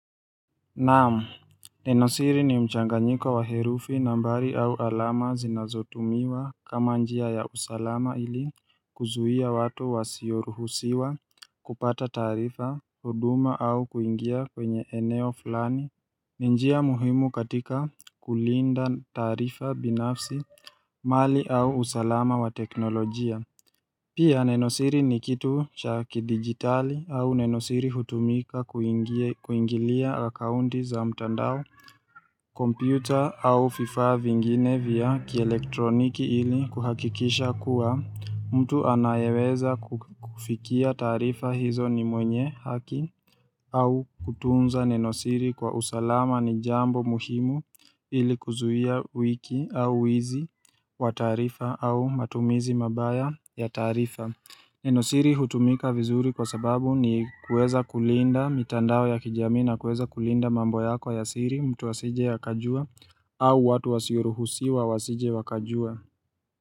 Naamu, nenosiri ni mchanganyika wa herufi nambari au alama zinazotumiwa kama njia ya usalama ili kuzuhia watu wasioruhusiwa kupata taarifa, huduma au kuingia kwenye eneo fulani, ni njia muhimu katika kulinda taarifa binafsi, mali au usalama wa teknolojia. Pia nenosiri ni kitu cha kidigitali au nenosiri hutumika kuingilia akaunti za mtandao Computer au fifaa vingine vya kielektroniki ili kuhakikisha kuwa mtu anayeweza kufikia taarifa hizo ni mwenye haki au kutunza nenosiri kwa usalama ni jambo muhimu ili kuzuhia wiki au wizi wa taarifa au matumizi mabaya ya taarifa Neno siri hutumika vizuri kwa sababu ni kueza kulinda mitandao ya kijamii na kueza kulinda mambo yako ya siri mtu asije akajua au watu wasioruhusi wa wasije wakajua.